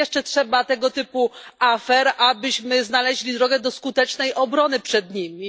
Ile jeszcze trzeba tego typu afer, abyśmy znaleźli drogę do skutecznej obrony przed nimi?